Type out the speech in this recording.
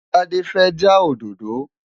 Tádé fẹ́ já òdòdó